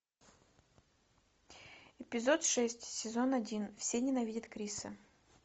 эпизод шесть сезон один все ненавидят криса